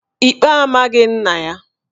Ikpe amaghị nna ya